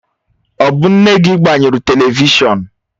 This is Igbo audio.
Ọ bụ nne gị gbanyụrụ televishọn?